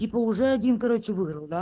типа уже один короче выиграл да